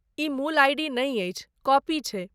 ई मूल आइ.डी. नै अछि, कॉपी छै।